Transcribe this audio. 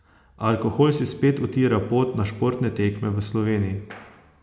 Alkohol si spet utira pot na športne tekme v Sloveniji.